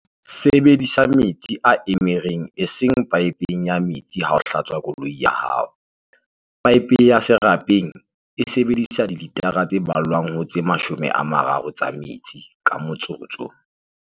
Sebedisa metsi a emereng eseng paepe ya metsi ha o hlatswa koloi ya hao. Paepe ya serapeng e sebedisa dilitara tse ballwang ho 30 tsa metsi ka motsotso.